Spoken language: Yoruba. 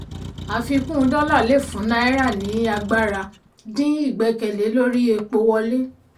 àfikún dọ́là lè fún náírà ní agbára dín ìgbẹ́kẹ̀lé lórí epo wọlé.